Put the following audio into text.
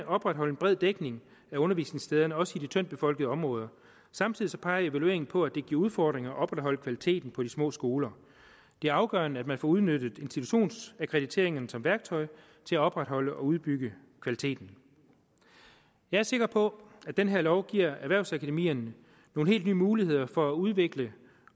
opretholde en bred dækning af undervisningssteder også i de tyndt befolkede områder samtidig peger evalueringen på at det giver udfordringer at opretholde kvaliteten på de små skoler det er afgørende at man får udnyttet institutionsakkrediteringerne som værktøj til at opretholde og udbygge kvaliteten jeg er sikker på at den her lov giver erhvervsakademierne nogle helt nye muligheder for at udvikle